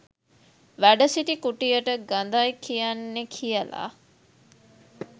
වැඩ සිටි කුටියට ගඳයි කියන්නෙ කියල